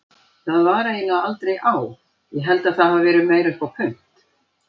Það var eiginlega aldrei á, ég held það hafi verið meira upp á punt.